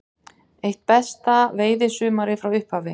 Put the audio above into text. Eitt besta veiðisumarið frá upphafi